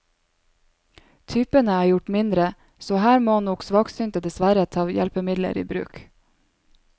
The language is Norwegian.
Typene er gjort mindre, så her må nok svaksynte dessverre ta hjelpemidler i bruk.